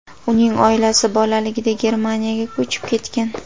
Uning oilasi bolaligida Germaniyaga ko‘chib ketgan.